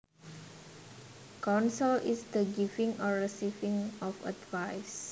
Counsel is the giving or receiving of advice